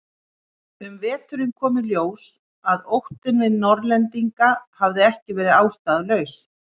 Um veturinn kom í ljós að óttinn við Norðlendinga hafði ekki verið ástæðulaus.